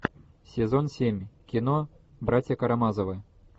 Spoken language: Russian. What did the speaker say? сезон семь кино братья карамазовы